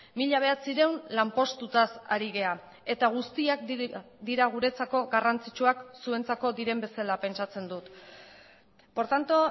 mila bederatziehun lanpostutaz ari gara eta guztiak dira guretzako garrantzitsuak zuentzako diren bezala pentsatzen dut por tanto